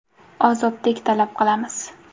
Ozodlik talab qilamiz.